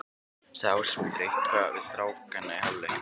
Sagði Ásmundur eitthvað við strákana í hálfleiknum?